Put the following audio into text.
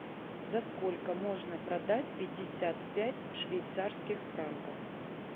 за сколько можно продать пятьдесят пять швейцарских франков